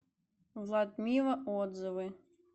владмива отзывы